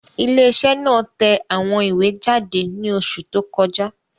Ilé iṣẹ́ náà tẹ àwọn ìwé jáde ní oṣù tó kọjá